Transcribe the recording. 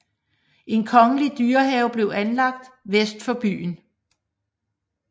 En kongelig dyrehave blev anlagt vest for byen